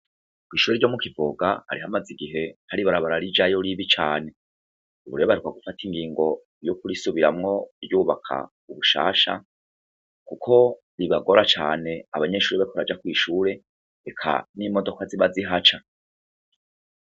Kw'ishure ryo mu Kivoga hari hamaze igihe hari ibarabara rijayo ribi cane. Ubu rero baheruka gufata ingingo yo kurisubiramwo kuryubaka ubushasha, kuko bibagora cane abanyehsure bariko baraja kw'ishure, eka n'imodoka ziba zihaca.